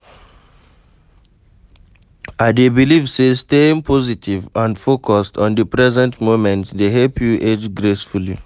I dey believe say staying positive and focused on di present moment dey help you age gracefully.